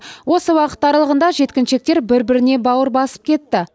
осы уақыт аралығында жеткіншектер бір біріне бауыр басып кетті